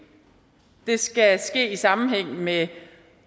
det skal ske i sammenhæng med